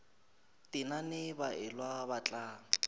tenane ba elwa ba tla